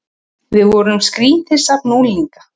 Við vorum skrýtið safn unglinga.